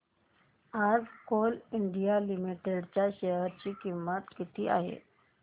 आज Coal India Limited च्या share ची किंमत किती आहे